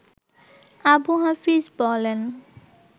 আবু হাফিজ বলেন